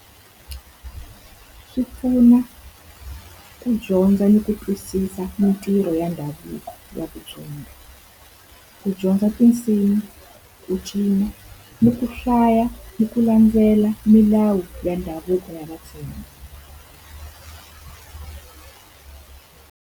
Swi pfuna ku dyondza ni ku twisisa mintirho ya ndhavuko ya . Ku dyondza tinsimu, ku cina, ni ku hlaya ni ku landzela milawu ya ndhavuko ya Vatsonga.